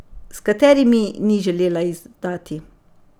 S katerimi, ni želela izdati.